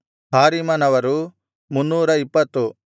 ಹಾರಿಮನವರು 320